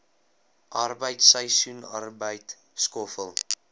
arbeid seisoensarbeid skoffel